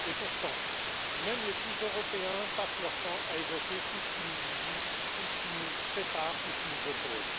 Pourtant, même les plus européens passent leur temps à évoquer tout ce qui nous divise, tout ce qui nous sépare, tout ce qui nous oppose.